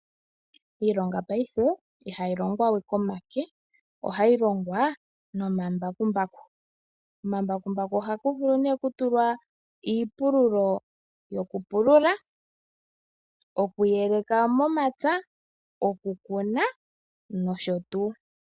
Iilonga paife ihayi longwa we komake, ihe ohayi longwa nomambakumbaku. Komambakumbaku ohaku vulu nee okutulwa iipululo yokupulula, okuyeleka momapya, okukuna, nosho tuu.